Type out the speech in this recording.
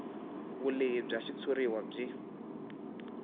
vulehi bya xitshuriwa byi